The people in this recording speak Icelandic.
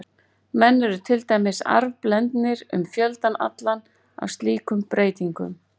Menn eru til dæmis arfblendnir um fjöldann allan af slíkum breytingum.